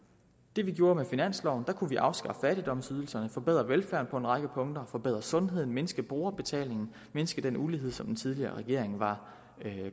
det vi gjorde med finansloven kunne vi afskaffe fattigdomsydelserne og forbedre velfærden på en række punkter forbedre sundheden mindske brugerbetalingen mindske den ulighed som den tidligere regering var